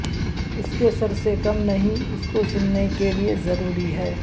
اس کے سر سے کم نہیں اس کو سننے کے لئے ضروری ہے